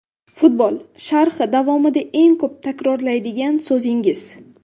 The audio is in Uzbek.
Futbol sharhi davomida eng ko‘p takrorlaydigan so‘zingiz?